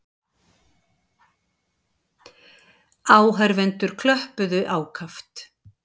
Áhorfendur klöppuðu ákaft.